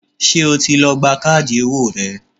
Ṣé o ti lọ gba káàdì owó rẹ?